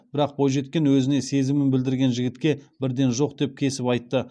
бірақ бойжеткен өзіне сезімін білдірген жігітке бірден жоқ деп кесіп айтты